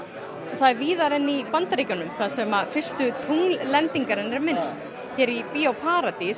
það er víðar en í Bandaríkjunum sem fyrstu tungllendingarinnar er minnst hér í Bíó paradís